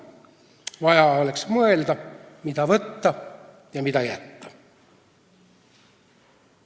Vaja oleks mõelda, mida võtta ja mida jätta.